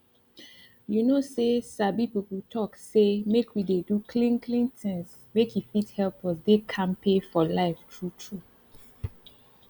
you know say sabi people talk say make we dey do clean clean things make e fit help us dey kampe for life true true